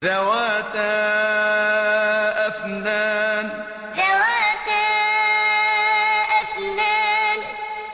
ذَوَاتَا أَفْنَانٍ ذَوَاتَا أَفْنَانٍ